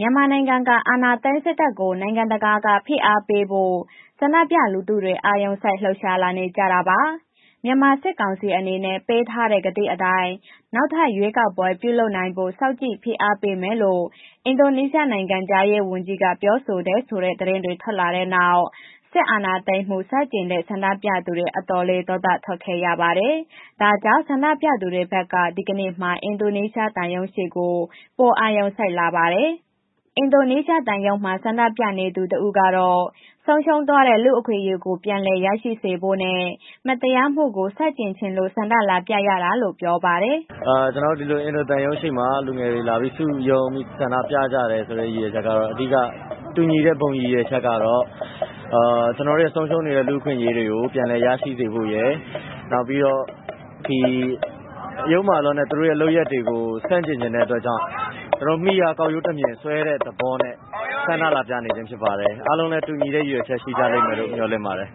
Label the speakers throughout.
Speaker 1: မြန်မာနိုင်ငံက အာဏာသိမ်းစစ်တပ်ကို နိုင်ငံတကာက ဖိအားပေးဖို့ ဆန္ဒပြလူထုတွေ အာရုံစိုက်လှုပ်ရှားလာနေကြတာပါ။ မြန်မာစစ်ကောင်စီအနေနဲ့ ပေးထားတဲ့ဂတိအတိုင်း နောက်ထပ်ရွေးကောက်ပွဲ ပြုလုပ်နိုင်ဖို့ စောင့်ကြည့်ဖိအားပေးမယ်လို့ အင်ဒိုနီးရှားနိုင်ငံခြားရေးဝန်ကြီးက ပြောဆိုတယ်ဆိုတဲ့ သတင်းထွက်လာတဲ့နောက်၊ စစ်အာဏာသိမ်းမှုဆန့်ကျင်တဲ့ဆန္ဒပြသူတွေအတော်လေး ဒေါသထွက်ခဲ့ကြပါတယ်။ ဒါကြောင့် ဆန္ဒပြသူတွေဘက်က ဒီကနေ့မှာ အင်ဒိုနီးရှားသံရုံးရှေ့ကို ပိုအာရုံစိုက်လာပါတယ်။ အင်ဒိုနီးရှားသံရုံးမှာ ဆန္ဒပြနေတဲ့ သူတစ်ဦးကတော့ ဆုံးရှုံးသွားတဲ့ လူ့အခွင့်အရေးကို ပြန်လည်ရရှိစေဖို့နဲ့ မတရားမှုကို ဆန့်ကျင်ချင်လို့ ဆန္ဒလာပြရတာလို့ ပြောပါတယ်
Speaker 2: ။ “ကျနော်တို့ ဒီလို အင်ဒိုသံရုံးရှေ့မှာ လူငယ်တွေ လာပြီး စုရုံးပြီးဆန္ဒပြကြတယ်ဆိုတဲ့ ရည်ရွယ်ချက်က အဓိကတူညီတဲ့ ဘုံရည်ရွယ်ချက်ကတော့ ကျနော်တို့ ဆုံးရှုံးနေတဲ့ လူ့အခွင့်အရေးတွေကို ပြန်လည်ရစေဖို့ရယ်၊ နောက်ပြီးတော့ ဒီယုတ်မာလွန်တဲ့ သူတို့လုပ်ရပ်တွေကို ဆန့်ကျင်ချင်တဲ့ အတွက်ကြောင့် ကျနော်မှီရာကောက်ရိုးတမျှစ်ဆွဲတဲ့ သဘောနဲ့ ဆန္ဒလာပြနေခြင်းဖြစ်ပါတယ်။ အားလုံးလည်း တူညီတဲ့ ရည်ရွယ်ချက်ရှိကြလိမ့်မယ်လို့ မျှော်လင့်ပါတယ်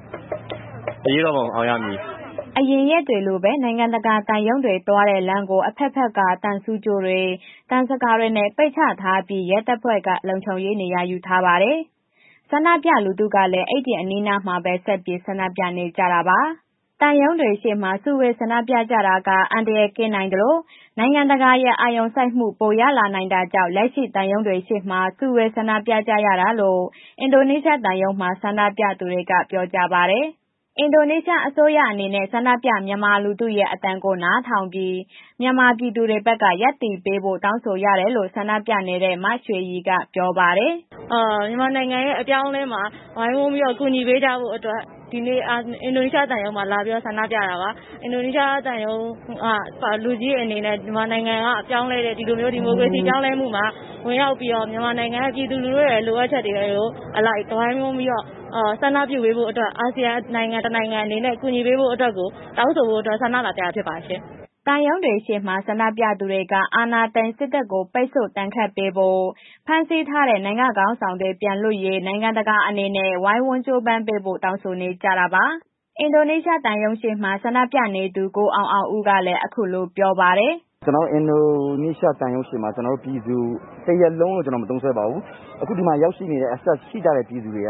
Speaker 2: ။ အရေးတော်ပုံအောင်ရမည်။
Speaker 1: ” အရင်ရက်တွေလိုပဲ နိုင်ငံတကာ သံရုံးတွေ သွားလမ်းတဲ့ကို အဘက်ဘက်က သံဆူးကြိုးတွေ သံဇကာတွေနဲ့ ပိတ်ချထားပြီး ရဲတပ်ဖွဲ့က လုံခြုံရေးနေရာထားပါတယ်။ ဆန္ဒပြလူထုတွေကလည်း အဲ့ဒီအနီးအနားမှာပဲ ဆက်ပြီး ဆန္ဒပြနေကြတာပါ။ သံရုံးတွေရှေ့မှာ စုဝေးဆန္ဒပြကြတာက အန္တရာယ်ကင်းနိုင်သလို နိုင်ငံတကာရဲ့ အာရုံစိုက်မှု ပိုရလာနိုင်တာကြောင့် လက်ရှိ သံရုံးတွေရှေ့မှာ စုဝေးဆန္ဒပြကြတာလို့လည်း အင်ဒိုနီးရှားသံရုံးမှာ ဆန္ဒပြသူတွေက ပြောကြပါတယ်။ အင်ဒိုနီးရှားအစိုးရအနေနဲ့ ဆန္ဒပြ မြန်မာလူထုရဲ့ အသံကို နားထောင်ပြီး မြန်မာပြည်သူဘက်က ရပ်တည်ပေးဖို့ တောင်းဆိုရတယ်လို့ ဆန္ဒပြနေတဲ့ မရွှေရည်က ပြောပါတယ်
Speaker 3: ။ “မြန်မာနိုင်ငံရဲ့ အပြောင်းအလဲမှာ ဝိုင်းဝန်ပြီးတော့ ကူညီပေးကြဖို့အတွက် ဒီနေ့အင်ဒိုနီးရှားသံရုံးမှာ လာပြီးတော့ ဆန္ဒပြတာပါ။ အင်ဒိုနီးရှားသံရုံးက လူကြီးအနေနဲ့ မြန်မာနိုင်ငံကအပြောင်းအလဲ ဒီလိုမျိုး ဒီမိုကရေစီပြောင်းလဲမှုမှာ ဝင်ရောက်ပြီးတော့ မြန်မာနိုင်ငံက ပြည်သူလူထုရဲ့ လိုအပ်ချက်တွေအလိုက် ဝိုင်းဝန်ပြီးတော့ ဆန္ဒပြုပေးဖို့အတွက် အာဆီယံနိုင်ငံတစ်နိုင်ငံအနေနဲ့ ကူညီပေးဖို့အတွက်ကို တောင်းဆိုဖို့အတွက် ဆန္ဒလာပြတာဖြစ်ပါတယ်။
Speaker 1: ” သံရုံးတွေရှေ့မှာ ဆန္ဒပြသူတွေက အာဏာသိမ်းစစ်တပ်ကို ပိတ်ဆို့ဒဏ်ရာပေးဖို့ ဖမ်းဆီးထားတဲ့ နိုင်ငံ့ခေါင်းတွေ လွတ်မြောက်ရေး နိုင်ငံတကာအနေနဲ့ ဝိုင်းဝန်ကြိုးပမ်းဖို့ တောင်းဆိုနေကြတာပါ။ အင်ဒိုနီးရှားသံရုံးရှေ့မှာ ဆန္ဒပြနေသူ ကိုအောင်အောင်ဦးကလည်း အခုလိုပြောပါတယ်
Speaker 4: ။ “ကျနော်တို့ အင်ဒိုနီးရှားသံရုံးရှေ့မှာ ကျနော်တို့ပြည်သူတစ်ရပ်လုံးကို ကျနော် မသုံးစွဲပါဘူး။ အခုဒီမှာ ရောက်ရှိနေတဲ့ access ရှိကြတဲ့ ပြည်သူတွေက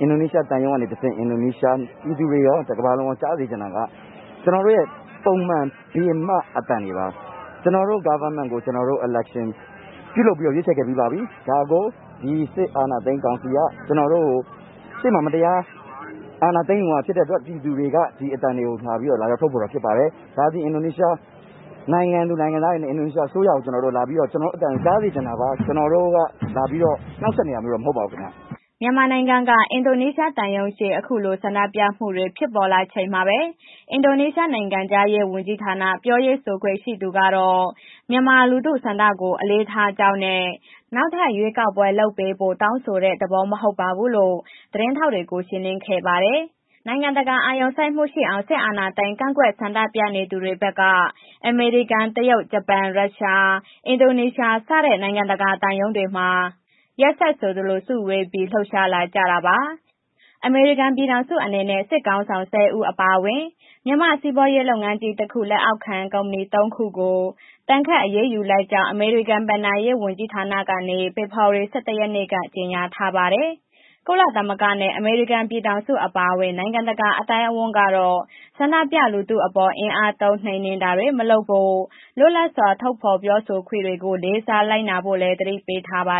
Speaker 4: အင်ဒိုနီးရှားသံရုံးကနေတဆင့် အင်ဒိုနီးရှားပြည်သူတွေရော တစ်ကမ္ဘာလုံးကို ကြားစေချင်တာက ကျနော်တို့ရဲ့ ပုံမှန် ပြင်မအသံတွေပါ ကျနော်တို့ Government ကို ကျနော်တို့ Election ပြုလုပ်ပြီးတော့ ရွေးချယ်ခဲ့ပြီးပါပြီ။ ဒါကို ဒီစစ်အာဏာသိမ်းကောင်စီက ကျနော်တို့ကို ရှေ့မှာ မတရားအာဏာသိမ်းယူသွားတာဖြစ်တဲ့အတွက် ပြည်သူတွေက ဒီအသံတွေကို လာပြီးတော့ လာရောက်ထုတ်ဖော်တာဖြစ်ပါတယ်။ ဒါသည် အင်ဒိုနီးရှားနိုင်ငံသူ၊ နိုင်ငံသားတွေနဲ့ အင်ဒိုနီးရှားအစိုးရကို ကျနော်တို့လာပြီးတော့ ကျနော်တို့အသံကြားစေချင်တာပါ။ ကျနော်တို့က လာပြီးတော့ နှောင့်ယှက်နေတာမဟုတ်ပါဘူး ခင်ဗျ။”
Speaker 1: မြန်မာနိုင်ငံက အင်ဒိုနီးရှားသံရုံးရှေ့အခုလို ဆန္ဒပြမှုတွေဖြစ်လာချိန်မှာ အင်ဒိုနီးရှားနိုင်ငံခြားရေးဌာနပြောခွင့်ရသူကတော့ မြန်မာလူထုဆန္ဒကို အလေးထားကြောင်းနဲ့ နောက်ထပ်ရွေးကောက်ပွဲလုပ်ပေးဖို့ တောင်းဆိုတဲ့ သဘော မဟုတ်ပါဘူးလို့ သတင်းထောက်တွေကို ရှင်းလင်းခဲ့ပါတယ်။ နိုင်ငံတကာ အာရုံစိုက်မှုရှိအောင် စစ်အာဏာသိမ်းကန့်ကွက်ဆန္ဒပြသူတွေဘက်က အမေရိကန်၊ တရုတ်၊ ဂျပန်၊ ရှရုား၊ အင်ဒိုနီးရှားစတဲ့ နိုင်ငံတကာသံရုံးတွေမှာ ရက်ဆက်ဆိုသလို စုဝေးပြီး လှုပ်ရှားလာကြတာပါ။ အမေရိကန်ပြည်ထောင်စုကတော့အနေနဲ့ စစ်ခေါင်းဆောင် ၁၀ ဦး အပါအဝင် မြန်မာ့စီးပွားရေးလုပ်ငန်းကြီး တစ်ခုရဲ့ လက်အောက်ခံ ကုမ္ပဏီ သုံး ခုကို ဒဏ်ခတ်အရေးယူလိုက်ကြောင်း အမေရိကန်ဘဏ္ဍာရေးဝန်ကြီးဌာနကနေ ဖေဖော်ဝါရီ ၁၁ ရက်နေ့က ကြေညာထားပါတယ်။ ကုလသမဂ္ဂနဲ့ အမေရိကန် ပြည်ထောင်စု အပါအဝင် နိုင်ငံတကာ အသိုင်းအဝန်းကတော့ဆန္ဒပြသူတွေအပေါ် အင်အားသုံးနှိမ်နင်းတာတွေ မလုပ်ဖို့ လွတ်လပ်စွာ ထုတ်ဖော်ပြောဆိုခွင့်တွေကို လေးစားလိုက်နာဖို့လည်း သတိပေးထားပါ